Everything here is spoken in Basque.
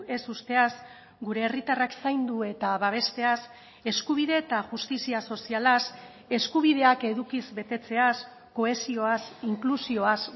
ez uzteaz gure herritarrak zaindu eta babesteaz eskubide eta justizia sozialaz eskubideak edukiz betetzeaz kohesioaz inklusioaz